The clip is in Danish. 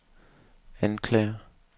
anklager